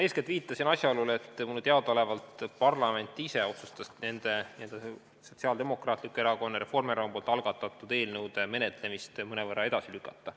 Ma eeskätt viitasin asjaolule, et mulle teadaolevalt parlament ise otsustas Sotsiaaldemokraatliku Erakonna ja Reformierakonna algatatud eelnõude menetlemist mõnevõrra edasi lükata.